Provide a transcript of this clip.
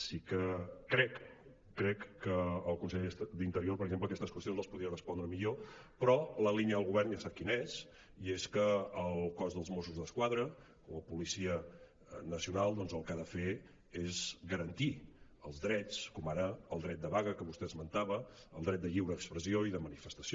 sí que crec que el conseller d’interior per exemple aquestes qüestions les podia respondre millor però la línia del govern ja sap quina és i és que el cos dels mossos d’esquadra com a policia nacional doncs el que ha de fer és garantir els drets com ara el dret de vaga que vostè esmentava el dret de lliure expressió i de manifestació